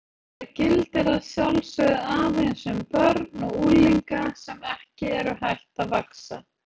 Þetta gildir að sjálfsögðu aðeins um börn og unglinga sem ekki eru hætt að vaxa.